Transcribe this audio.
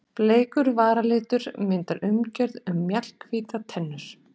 Bleikur varalitur myndar umgjörð um mjallhvítar tennur.